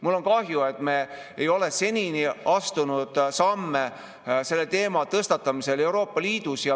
Mul on kahju, et me ei ole seni astunud samme selle teema tõstatamisel Euroopa Liidus.